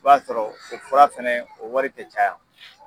b'a sɔrɔ o fura fana o wari tɛ caya.